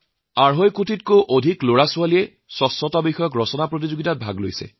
আঢ়ৈ কোটিতকৈও অধিক শিশুৱে স্বচ্ছতাৰ বিষয়ে ৰচনা প্ৰতিযোগিতাত অংশ গ্ৰহণ কৰিছিল